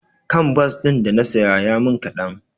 Kanbas ɗin da na saya ya min kaɗan.